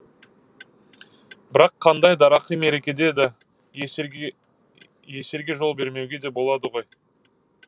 бірақ қандай дарақы мерекеде де есерге жол бермеуге де болады ғой